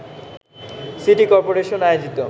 city corporation আয়োজিত